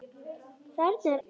Þarna er amma!